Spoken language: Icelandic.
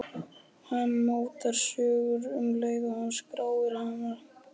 Hann mótar söguna um leið og hann skráir.